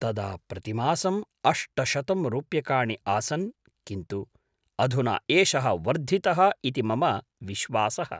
तदा प्रतिमासं अष्टशतं रुप्यकाणि आसन् किन्तु अधुना एषः वर्धितः इति मम विश्वासः।